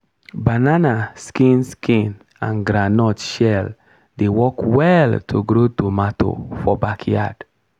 banana skin skin and groundnut shell dey work well to grow tomato for backyard.